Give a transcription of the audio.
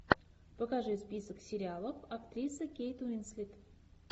покажи список сериалов актриса кейт уинслет